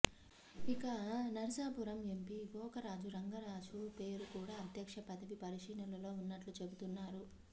ఇక నరసాపురం ఎంపీ గోకరాజు రంగరాజు పేరు కూడా అధ్యక్ష పదవి పరిశీలనలో ఉన్నట్లు చెబుతున్నారు